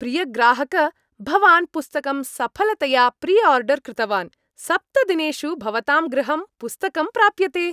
प्रियग्राहक भवान् पुस्तकं सफलतया प्रिआर्डर् कृतवान्, सप्तदिनेषु भवतां गृहं पुस्तकं प्राप्यते।